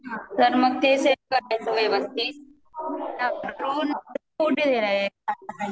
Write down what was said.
तर मग ते सेट करायच व्यवस्थित `